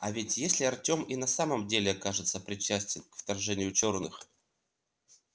а ведь если артём и на самом деле окажется причастен к вторжению черных